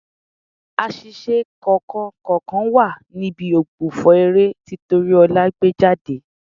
Àṣìṣe kọ̀ọ̀kan kọ̀ọ̀kan wà níbi ògbufọ̀ eré tí Tóríọlá gbé jáde.